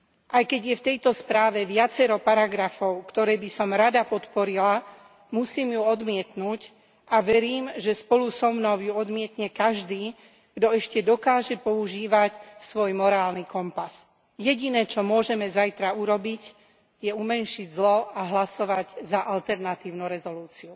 Aj keď je v tejto správe viacero paragrafov, ktoré by som rada podporila, musím ju odmietnuť a verím, že spolu so mnou ju odmietne každý, kto ešte dokáže používať svoj morálny kompas. Jediné, čo môžeme zajtra urobiť, je umenšiť zlo a hlasovať za alternatívnu rezolúciu.